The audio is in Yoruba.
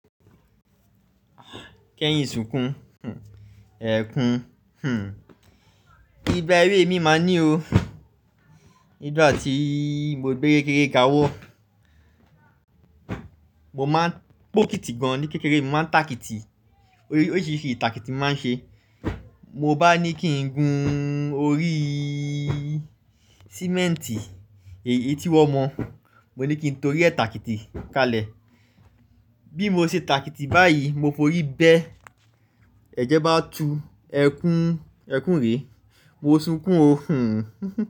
Kẹ́yìn sunkún, ẹkùn, igba ewé mi máa ní o. Nigbá tí mo gbé kékeré ga wó, mo máa ń po kítì gan ní kékeré, mo máa ń ta kítì. Oríṣiríṣi ìtàkìtí mo máa ń ṣe. Mo bá ní kí n gun orí cement i. Èyí tí wọ́n mọ̀, mo ní kí n torí ẹ̀ tàkìtì kalẹ̀. Bí mo ṣe tàkìtì báyìí, mo fi orí bẹ́ ẹ̀jẹ̀ bá tu ẹkùn, ẹkùn rè, mo sunkún o.